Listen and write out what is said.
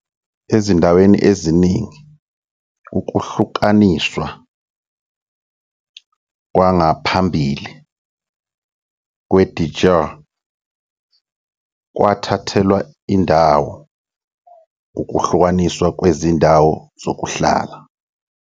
Ezindaweni eziningi, ukuhlukaniswa "kwangaphambili" "kwe-de jure" kwathathelwa indawo ukuhlukaniswa kwezindawo zokuhlala